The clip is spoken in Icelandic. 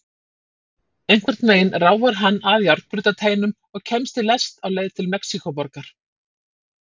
Einhvern veginn ráfar hann að járnbrautarteinum og kemst í lest á leið til Mexíkóborgar.